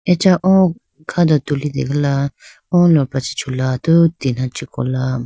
Acha o kha do tulitegala o lopra chi chula atudi tina chee kola.